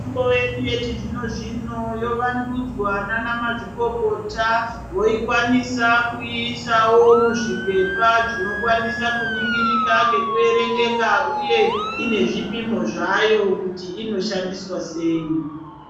Mitombo yedu yechi zvino zvino yo vandudzwa nana ma zviikokota woikwanisa kuisawo muzvi pepa zvino kwanisa kuningirika ngeku erengeka uye ine zvipimo zvayo kuti inoshandiswa sei.